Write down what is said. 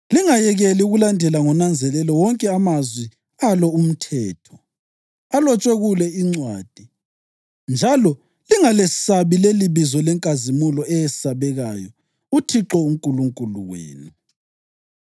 Lingayekela ukulandela ngonanzelelo wonke amazwi alo umthetho, alotshwe kule incwadi, njalo lingalesabi lelibizo lenkazimulo eyesabekayo uThixo uNkulunkulu wenu,